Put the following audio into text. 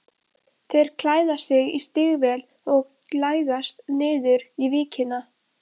Þeir klæða sig í stígvél og læðast niður í víkina.